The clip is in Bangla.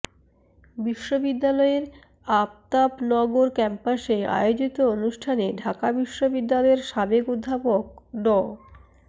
বিশ্ববিদ্যালয়ের আফতাবনগর ক্যাম্পাসে আয়োজিত অনুষ্ঠানে ঢাকা বিশ্ববিদ্যালয়ের সাবেক অধ্যাপক ড